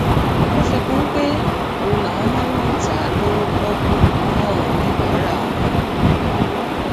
ó fi kún un pé òru làwọn máa ń lọọ ta á lọwọ pọọkú fáwọn oníbàárà àwọn